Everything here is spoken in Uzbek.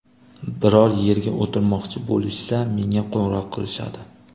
Biror yerda o‘tirmoqchi bo‘lishsa, menga qo‘ng‘iroq qilishadi.